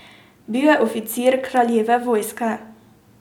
Bil je oficir kraljeve vojske.